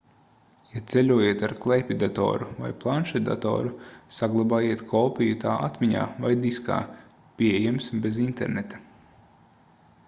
ja ceļojat ar klēpjdatoru vai planšetdatoru saglabājiet kopiju tā atmiņā vai diskā pieejams bez interneta